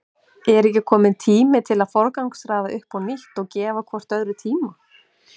Er ekki kominn tími til að forgangsraða upp á nýtt og gefa hvort öðru tíma?